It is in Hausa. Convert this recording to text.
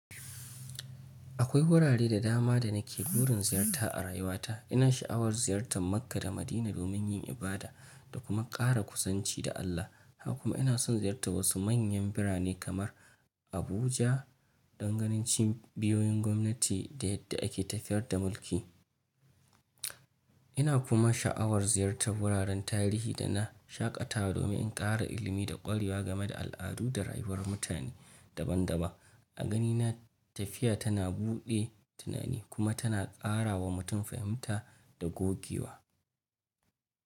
Akwai wurare da dama da nake burin ziyarta a rayuwata. Ina sha'awar ziyartar Makka da Madina domin yin ibada da kuma ƙara kuzanci da Allah. Haka kuma ina son ziyartar wasu manyan birane kamar Abuja don ganin cibiyoyin gwamnati da yadda ake tafiyar da mulki. Ina kuma sha'awar ziyartar wuraren tarihi da na shaƙatawa domin in ƙara ilimi da ƙwarewa game da al'adu da rayuwar mutane daban-daban. A ganina, tafiya tana buɗe tunani kuma tana ƙara wa mutum fahimta da gogewa.